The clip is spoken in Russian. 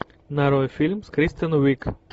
нарой фильм с кристен уиг